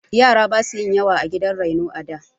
Yara basu yin yawa a gidan raino a da.